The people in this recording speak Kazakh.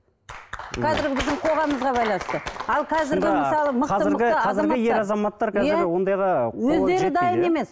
қазіргі біздің қоғамымызға байланысты